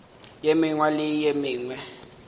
ye mengwe le ye mengwe